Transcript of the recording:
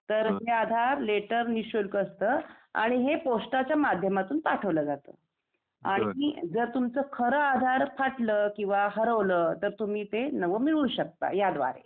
तर हे आधार लेटर निशुल्क असत आणि हे पोस्टाचा माध्यमातून पाठवला जाता. आणि जर तुमचा खर आधार फाटल किंवा हरवल तर तुम्ही ते नवीन मिळवू शकता याद्वारे